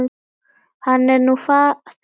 Hann er nú faðir þeirra.